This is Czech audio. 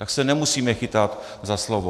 Tak se nemusíme chytat za slovo.